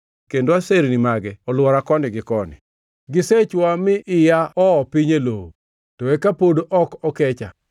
kendo aserni mage olwora koni gi koni. Gisechwoya mi iya oo piny e lowo, to eka pod ok okecha.